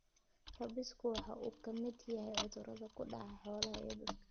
Rabiesku waxa uu ka mid yahay cudurrada ku dhaca xoolaha iyo dadka.